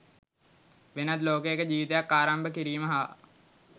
වෙනත් ලෝකයක ජීවිතයක් ආරම්භ කිරීම හා